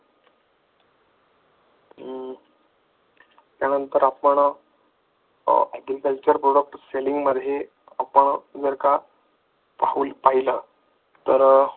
त्यानंतर आपण agriculture product selling मध्ये आपण जर का पाहिलं तर